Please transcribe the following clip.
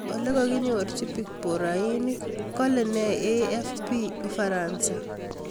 Ole kaginyorchi picborohainik, Kale nee AFP ufaransa?/